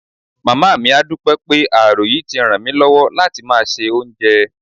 Màmá mi á dúpẹ́ pé ààrò yìí ti ràn mí lọ́wọ́ láti máa se oúnjẹ